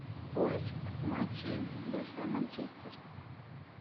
поиск матчей большой манчестер